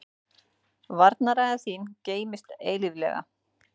Varnarræða þín geymist eilíflega.